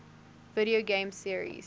video game series